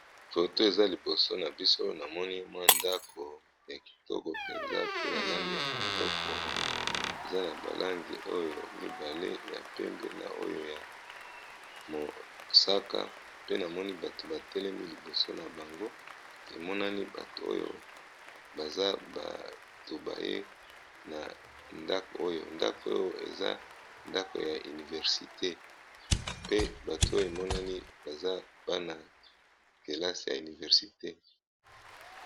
Foto oyo eza liboso na biso namoni ndako ya kitoko eza na langi mibale ya pembe na mosaka batu batelemi liboso nango emonani baye na ndako ya université pe batu oyo emonani eza bana kelasi ya université.